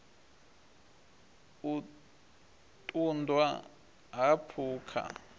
u ṱun ḓwa ha phukha